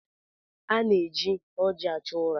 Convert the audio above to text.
A na-eji ọjị achụ ụra.